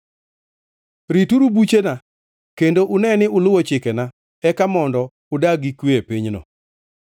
Rituru buchena kendo une ni uluwo chikena, eka mondo udag gi kwe e pinyno.